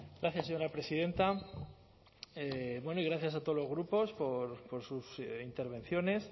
gracias señora presidenta bueno y gracias a todos los grupos por sus intervenciones